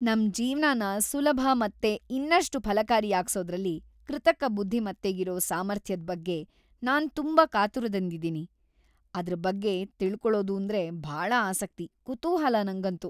ನಮ್ ಜೀವ್ನನ ಸುಲಭ ಮತ್ತೆ ಇನ್ನಷ್ಟು ಫಲಕಾರಿಯಾಗ್ಸೋದ್ರಲ್ಲಿ ಕೃತಕ ಬುದ್ಧಿಮತ್ತೆಗಿರೋ ಸಾಮರ್ಥ್ಯದ್ ಬಗ್ಗೆ ನಾನ್‌ ತುಂಬಾ ಕಾತುರದಿಂದಿದೀನಿ. ಅದ್ರ ಬಗ್ಗೆ ತಿಳ್ಕೊಳೊದೂಂದ್ರೆ ಭಾಳ ಆಸಕ್ತಿ, ಕುತೂಹಲ ನಂಗಂತೂ!